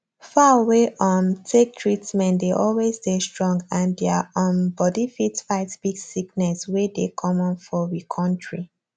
fowl wey um take treatment dey always dey strong and deir um body fit fight big sickness wey dey common for we kontri